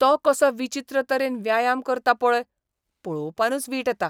तो कसो विचित्र तरेन व्यायाम करता पळय, पळोवपानूच वीट येता.